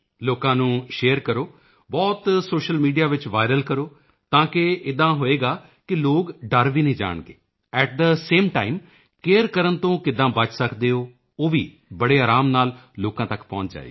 ਲੋਕਾਂ ਨੂੰ ਸ਼ੇਅਰ ਕਰੋ ਬਹੁਤ ਸੋਸ਼ੀਅਲ ਮੀਡੀਆ ਵਿੱਚ ਵਾਇਰਲ ਕਰੋ ਤਾਂ ਕੀ ਹੋਵੇਗਾ ਕਿ ਲੋਕ ਡਰ ਵੀ ਨਹੀਂ ਜਾਣਗੇ at the same time care ਕਰਨ ਤੋਂ ਕਿੱਦਾਂ ਬਚ ਸਕਦੇ ਹਨ ਉਹ ਵੀ ਬੜੇ ਆਰਾਮ ਨਾਲ ਲੋਕਾਂ ਤੱਕ ਪਹੁੰਚ ਜਾਏਗੀ